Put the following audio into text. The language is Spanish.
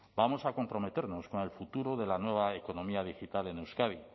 vamos a comprometernos con el futuro de la nueva economía digital en euskadi